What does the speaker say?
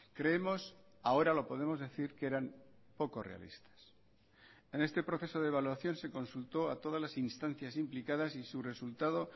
creemos ahora lo podemos decir que eran poco realistas en este proceso de evaluación se consultó a todas las instancias implicadas y su resultado